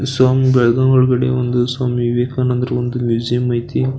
ಸಾಂ ಬೆಳ್ಗವ ಒಳಗಡೆ ಒಂದು ಸ್ವಾಮಿ ವಿವೇಕಾನಂದರ ಒಂದು ಮ್ಯೂಸಿಯಂ ಐತಿ.